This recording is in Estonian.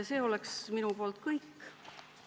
See on minu poolt kõik.